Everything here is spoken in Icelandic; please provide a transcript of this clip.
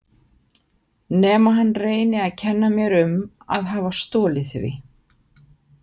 Nema hann reyni að kenna mér um að hafa stolið því.